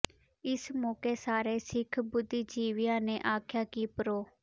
ਇਸ ਮੌਕੇ ਸਾਰੇ ਸਿੱਖ ਬੁੱਧੀਜੀਵੀਆਂ ਨੇ ਆਖਿਆ ਕਿ ਪ੍ਰੋ